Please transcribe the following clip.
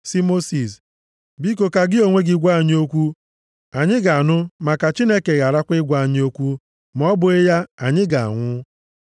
sị Mosis, “Biko ka gị onwe gị gwa anyị okwu, anyị ga-anụ ma ka Chineke gharakwa ịgwa anyị okwu, ma ọ bụghị ya, anyị ga-anwụ.”